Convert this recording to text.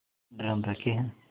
drum रखे हैं